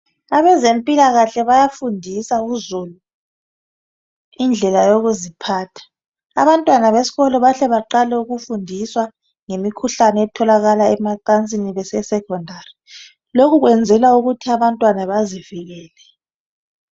Abezempilakahle bayafundisa uzulu indlela yokuziphatha. Abantwana besikolo bahle baqale ukufundiswa ngemikhuhkane etholakala emacansini, bese secondary. Lokhu kwenzelwa ukuthi abantwana bazivikele.